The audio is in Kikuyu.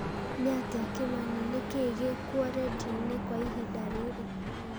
nĩatia kĩmani nĩ kĩĩ gĩ kuo rĩndiũ-inĩ kwa ihinda rĩrĩ